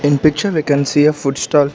in picture we can see a food stall.